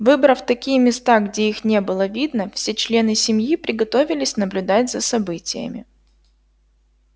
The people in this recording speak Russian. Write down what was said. выбрав такие места где их не было видно все члены семьи приготовились наблюдать за событиями